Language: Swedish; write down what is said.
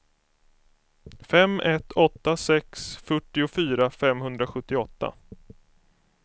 fem ett åtta sex fyrtiofyra femhundrasjuttioåtta